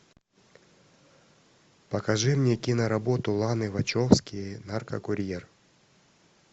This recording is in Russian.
покажи мне киноработу ланы вачовски наркокурьер